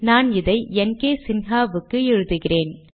நான் இதை என்கேசின்ஹாவுக்கு எழுதுகிறேன்